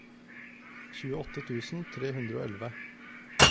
tjueåtte tusen tre hundre og elleve